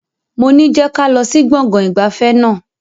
Moní je kálọ̀ sí gbọ̀ngàn ìgbafẹ́ náà!